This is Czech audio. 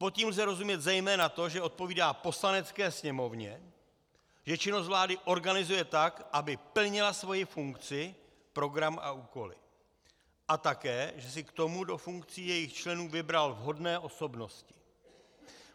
Pod tím lze rozumět zejména to, že odpovídá Poslanecké sněmovně, že činnost vlády organizuje tak, aby plnila svoji funkci, program a úkoly, a také že si k tomu do funkcí jejích členů vybral vhodné osobnosti.